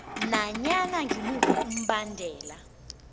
nanyana ngimuphi umbandela